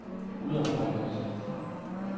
udarbejdet